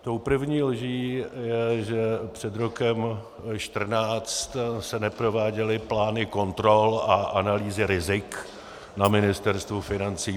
Tou první lží je, že před rokem 2014 se neprováděly plány kontrol a analýzy rizik na Ministerstvu financí.